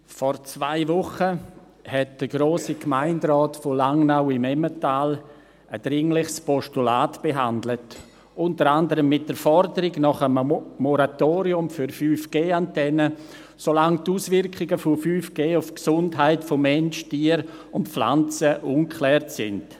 Vor zwei Wochen hat der Grosse Gemeinderat von Langnau im Emmental ein dringliches Postulat behandelt, unter anderem mit der Forderung nach einem Moratorium für 5G-Antennen, solange die Auswirkungen von 5G auf die Gesundheit von Mensch, Tier und Pflanzen ungeklärt sind.